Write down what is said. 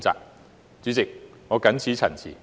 代理主席，我謹此陳辭。